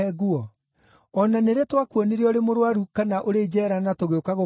O na nĩ rĩ twakuonire ũrĩ mũrũaru kana ũrĩ njeera na tũgĩũka gũkũrora?’